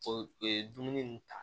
O ye dumuni ta